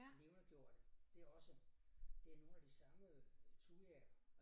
Levendegjorte det også det nogle af de samme øh thujaer